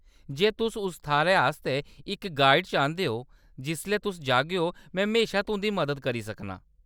जे तुस उस थाह्‌‌‌रै आस्तै इक गाइड चांह्‌‌‌दे ओ जिसलै तुस जागेओ, में म्हेशा तुंʼदी मदद करी सकनां।